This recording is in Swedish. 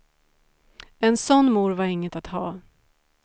En sådan mor var inget att ha.